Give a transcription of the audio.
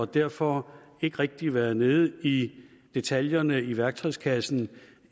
derfor ikke rigtig været nede i detaljerne i værktøjskassen